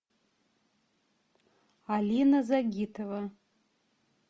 алина загитова